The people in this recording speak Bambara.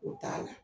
O t'a la